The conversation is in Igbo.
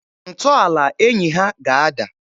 Ntọala enyi ha ga-ada.